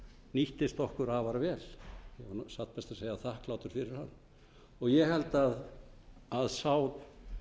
nýttist okkur afar vel satt best að segja þakklátur fyrir hann ég held að sá